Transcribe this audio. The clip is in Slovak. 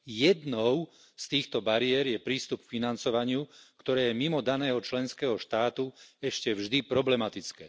Jednou z týchto bariér je prístup k financovaniu, ktoré je mimo daného členského štátu ešte vždy problematické.